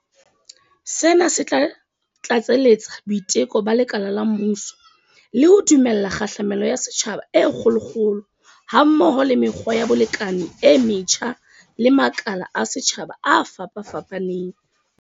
Sena se tla tlatseletsa boiteko ba lekala la mmuso, le ho dumella kgahlamelo ya setjhaba e kgolokgolo ha mmoho le mekgwa ya bolekane e metjha le makala a setjhaba a fapafapaneng.